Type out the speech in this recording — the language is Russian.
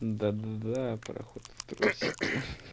да-да-да проход в трусики